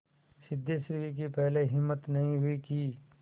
सिद्धेश्वरी की पहले हिम्मत नहीं हुई कि